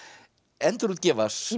endurútgefa sín